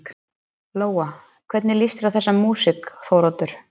Lóa: Hvernig lýst þér á þessa músík Þóroddur?